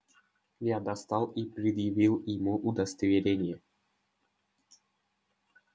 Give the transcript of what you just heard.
я достал и предъявил ему удостоверение